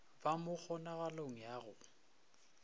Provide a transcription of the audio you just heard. ba mo kgonagalong ya go